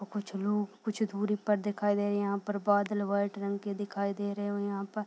कुछ लोग कुछ दूरी पर दिखाई दे रहे हैं यहाँ पर बादल वाइट रंग के दिखाई दे रहे हैं और यहाँ पर --